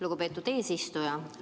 Lugupeetud eesistuja!